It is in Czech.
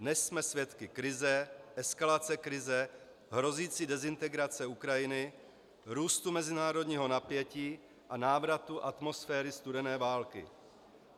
Dnes jsme svědky krize, eskalace krize, hrozící dezintegrace Ukrajiny, růstu mezinárodního napětí a návratu atmosféry studené války.